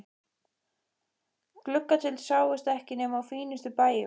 Gluggatjöld sáust ekki nema á fínustu bæjum.